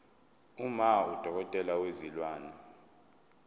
uma udokotela wezilwane